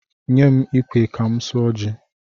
Nye m ikwe ka m suọ ji!